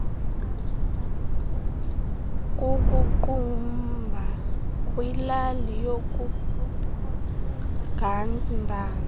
kukuqumbu kwilali yakugandana